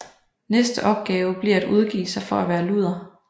Næste opgave bliver at udgive sig for at være luder